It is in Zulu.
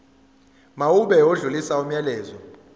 mawube odlulisa umyalezo